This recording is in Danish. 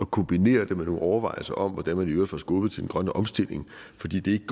kombinere det med nogle overvejelser om hvordan man i øvrigt får skubbet til den grønne omstilling fordi det ikke